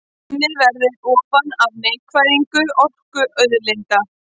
Undið verði ofan af einkavæðingu orkuauðlinda